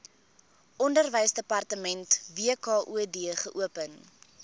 onderwysdepartement wkod geopen